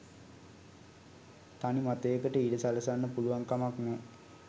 තනි මතයකට ඉඩ සලසන්න පුළුවන් කමක් නෑ